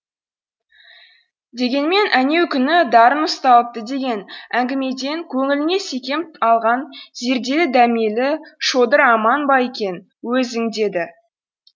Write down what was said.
дегенмен әнеукүні дарын ұсталыпты деген әңгімеден көңіліне секем алған зерделі дәмелі шодыр аман ба екен өзі деді